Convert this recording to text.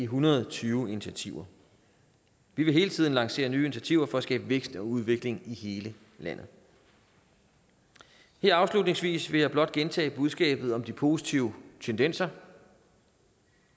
hundrede og tyve initiativer vi vil hele tiden lancere nye initiativer for at skabe vækst og udvikling i hele landet her afslutningsvis vil jeg blot gentage budskabet om de positive tendenser